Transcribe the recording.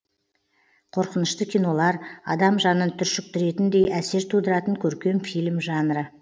қорқынышты кинолар адам жанын түршіктіретіндей әсер тудыратын көркем фильм жанры